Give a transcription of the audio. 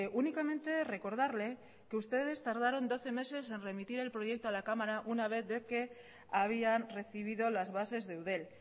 únicamente recordarle que ustedes tardaron doce meses en remitir el proyecto a la cámara una vez de que habían recibido las bases de eudel